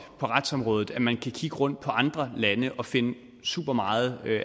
på retsområdet at man kan kigge rundt på andre lande og finde super meget